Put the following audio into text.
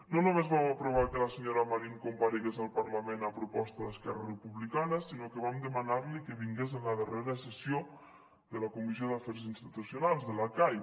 no només vam aprovar que la senyora marín comparegués al parlament a proposta d’esquerra republicana sinó que vam demanarli que vingués a la darrera sessió de la comissió d’afers institucionals de la cai